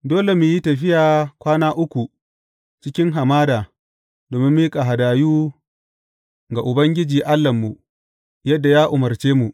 Dole mu yi tafiya kwana uku cikin hamada domin miƙa hadayu ga Ubangiji Allahnmu, yadda ya umarce mu.